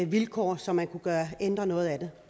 vilkår så man kan ændre noget af det